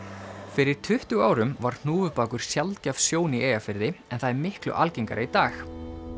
fyrir tuttugu árum var hnúfubakur sjaldgæf sjón í Eyjafirði en það er miklu algengara í dag